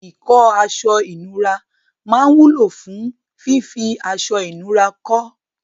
Ìkọ́ aṣọ-ìnura máa wúlò fún fífí aṣọ-ìnura kọ́.